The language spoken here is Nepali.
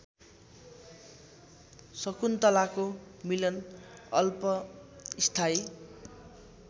शकुन्तलाको मिलन अल्पस्थायी